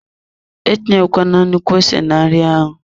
Etinyekwala nnukwu ose na nri ahụ.